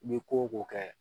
I bɛ ko o ko kɛ